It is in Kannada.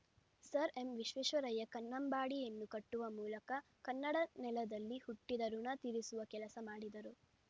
ಸರ್‌ ಎಂವಿಶ್ವೇಶ್ವರಯ್ಯ ಕನ್ನಂಬಾಡಿಯನ್ನು ಕಟ್ಟುವ ಮೂಲಕ ಕನ್ನಡ ನೆಲದಲ್ಲಿ ಹುಟ್ಟಿದ ಋುಣ ತೀರಿಸುವ ಕೆಲಸ ಮಾಡಿದರು